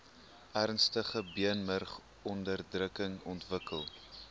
ernstige beenmurgonderdrukking ontwikkel